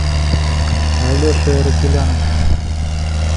алешей аракеляном